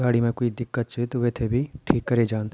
गाड़ी में कोई दिक्कत छै तो वेथे भी ठीक करे जांद।